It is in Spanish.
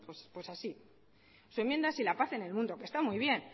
pues así su enmienda sí y la paz en el mundo que está muy bien